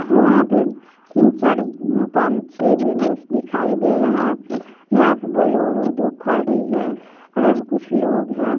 वहां पे तीन-चार पांच-छे विंडोज दिखाई दे रहा है यहां पे बोलेरो दो खड़ी है और यहां पे कुछ लोग है।